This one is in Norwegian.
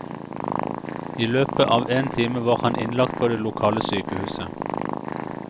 I løpet av én time var han innlagt på det lokale sykehuset.